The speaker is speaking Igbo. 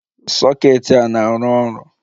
Soket a na-arụ ọrụ?